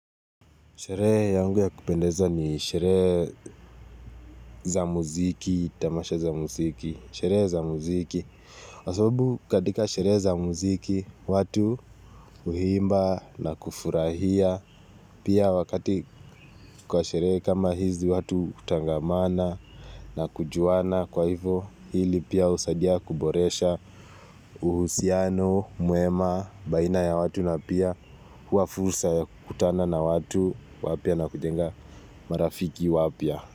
Sherehe yangu ya kupendeza ni sherehe za muziki, tamasha za muziki. Sheree za muziki. Kwa sababu katika sherehe za muziki, watu huimba na kufurahia. Pia wakati kwa sherehe kama hizi watu hutangamana na kujuana kwa hivo, hili pia husadia kuboresha uhusiano, mwema, baina ya watu na pia hua fursa ya kukutana na watu, wapya na kujenga marafiki wapya.